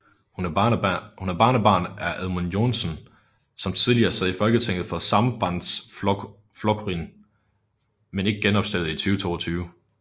Hun er barnebarn af Edmund Joensen som tidligere sad i Folketinget for Sambandsflokkurin men ikke genopstillede i 2022